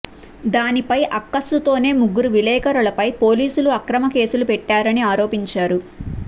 దానిపై అక్కసుతోనే ముగ్గురు విలేకరులపై పోలీసులు అక్రమ కేసులు పెట్టారని ఆరోపించారు